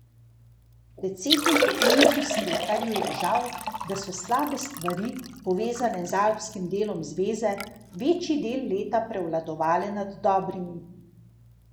Predsedniku Enzu Smrekarju je žal, da so slabe stvari, povezane z alpskim delom zveze, večji del leta prevladovale nad dobrimi.